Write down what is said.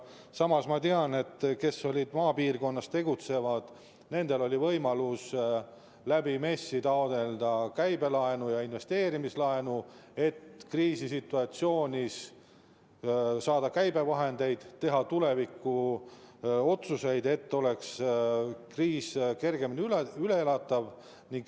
Samas ma tean, et nendel, kes tegutsesid maapiirkonnas, oli võimalus MES‑ist taotleda käibelaenu ja investeerimislaenu, et kriisisituatsioonis saada käibevahendeid, teha tuleviku jaoks otsuseid, et kriis oleks kergemini üleelatav.